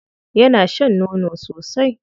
Yana shan nono sosai.